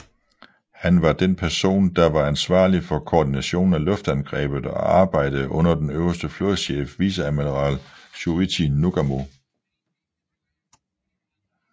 Han var den person der var ansvarlig for koordinationen af luftangrebet og arbejdede under den øverste flådechef viceadmiral Chuichi Nagumo